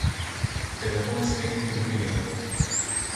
Telefon spet vibrira.